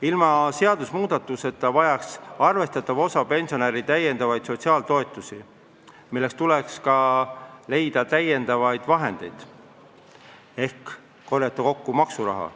Ilma seadusmuudatuseta vajaks arvestatav osa pensionäre täiendavaid sotsiaaltoetusi, milleks tuleks leida lisavahendeid ehk korjata kokku maksuraha.